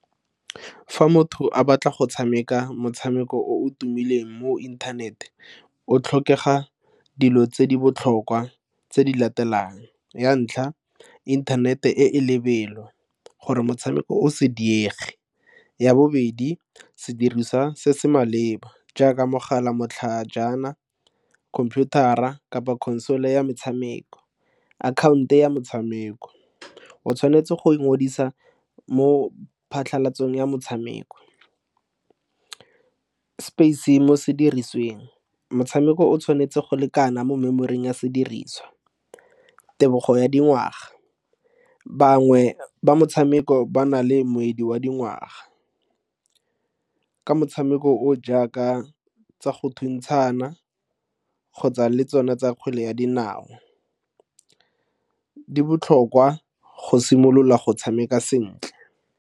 Fa motho a batla go tshameka motshameko o o tumileng mo inthanete o tlhokega dilo tse di botlhokwa tse di latelang, ya ntlha, inthanete e lebelelo gore motshameko o se diege. Ya bobedi, sedirisa se se maleba jaaka mogala matlhajana khomputara kapa console ya motshameko, akhaonto ya motshameko. Otshwanetse go ikgodisa mo phatlhalatseng ya motshameko mo sedirisiweng motshameko o tshwanetse go lekana mo memory-ing ya sediriswa. Tebogo ya dingwaga, bangwe ba motshameko ba na le motswedi wa dingwaga ke motshameko o jaaka tsa go thuntshana kgotsa le tsona tsa kgwele ya dinao di botlhokwa go simolola go tshameka sentle.